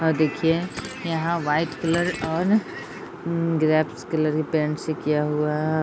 और देखिए यहाँ वाइट कलर और उम्म ग्रपेस कलर पेंट से किया हुआ है ।